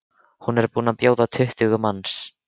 Hún er búin að bjóða tuttugu manns.